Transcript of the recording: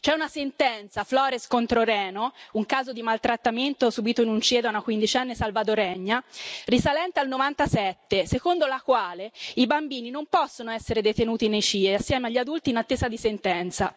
C'è una sentenza, Flores contro Reno un caso di maltrattamento subito in un CIE da una quindicenne salvadoregna, risalente al '97 secondo la quale i bambini non possono essere detenuti nei CIE assieme agli adulti in attesa di sentenza.